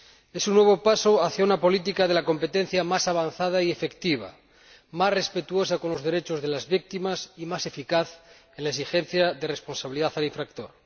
Es un nuevo paso hacia una política de competencia más avanzada y efectiva, más respetuosa con los derechos de las víctimas y más eficaz en la exigencia de responsabilidad al infractor.